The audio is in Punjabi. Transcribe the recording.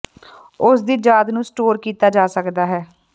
ਉਸ ਦੀ ਯਾਦ ਨੂੰ ਸਟੋਰ ਕੀਤਾ ਜਾ ਸਕਦਾ ਹੈ